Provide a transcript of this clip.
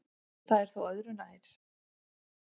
Það er þó öðru nær.